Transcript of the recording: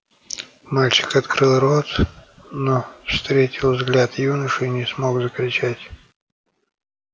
мальчик открыл рот но встретил взгляд юноши и не смог закричать